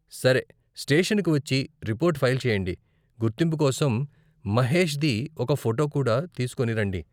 సరే, స్టేషన్కి వచ్చి, రిపోర్ట్ ఫైల్ చెయ్యండి, గుర్తింపు కోసం మహేష్ది ఒక ఫోటో కూడా తీసుకొని రండి.